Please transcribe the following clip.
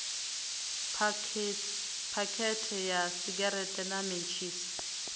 phakhethe ya segereṱe na mentshisi